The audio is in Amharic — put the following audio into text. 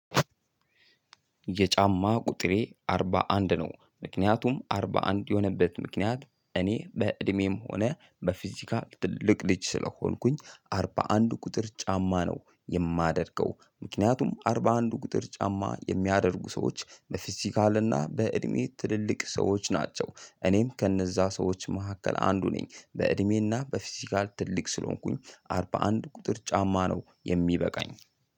የጫማ ቁጥሬ አርባ አንድ ነው ምክንያቱም አርባ አንድ የሆነበት ምክንያት እኔ በእድሜም ሆነ በፊዚካል ትልቅ ልጅ ስለሆንኩኝ አርባ አንድ ቁጥር ጫማ ነው የማደርገው። ምክንያቱም አርባ አንድ ቁጥር ጫማ የሚያደርጉ ሰዎች በፊዚካል እና በእድሜ ትልልቅ ሰዎች ናቸው። እኔም ከእነዛ ሰዎች መካከል አንዱ ነኝ በእድሜና በፊዚካል ትልቅ ስለሆንኩኝ አርባ አንድ ቁጥር ጫማ ነው። የሚበቃኝ